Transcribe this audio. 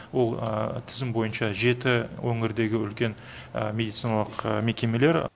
ол тізім бойынша жеті өңірдегі үлкен медициналық мекемелер